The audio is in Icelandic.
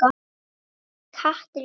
Þvílíkt hatur í hans garð